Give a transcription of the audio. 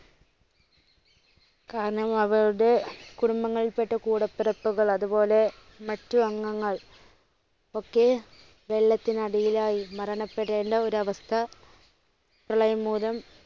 കാരണം അവരുടെ കുടുംബങ്ങളിൽപ്പെട്ട കുടപ്പിറപ്പുകൾ അതുപോലെ മറ്റ് അംഗങ്ങൾ ഒക്കെ വെളളത്തിനടിയിൽ ആയി മരണപ്പെടേണ്ട ഒരവസ്ഥ പ്രളയം മൂലം